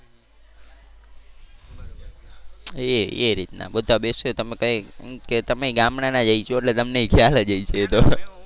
એ એ રીતના બધા બેસીએ તો અમે કઈ કે તમેય ગામડાના જ હશો એટલે તમનેય ખ્યાલ જ હશે એ તો